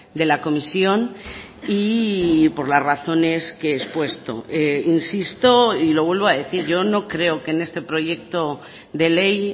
de la comisión y por las razones que he expuesto insisto y lo vuelvo a decir yo no creo que en este proyecto de ley